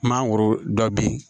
Mangoro dɔ bɛ yen